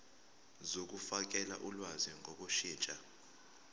zokufakela ulwazi ngokushintsha